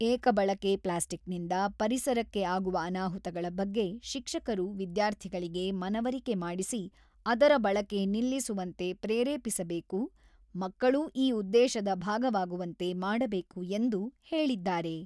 ಏಕ ಬಳಕೆ ಪ್ಲಾಸ್ಟಿಕ್‌ನಿಂದ ಪರಿಸರಕ್ಕೆ ಆಗುವ ಅನಾಹುತಗಳ ಬಗ್ಗೆ ಶಿಕ್ಷಕರು ವಿದ್ಯಾರ್ಥಿಗಳಿಗೆ ಮನವರಿಕೆ ಮಾಡಿಸಿ, ಅದರ ಬಳಕೆ ನಿಲ್ಲಿಸುವಂತೆ ಪ್ರೇರೇಪಿಸಬೇಕು, ಮಕ್ಕಳೂ ಈ ಉದ್ದೇಶದ ಭಾಗವಾಗುವಂತೆ ಮಾಡಬೇಕು ಎಂದು ಹೇಳಿದ್ದಾರೆ.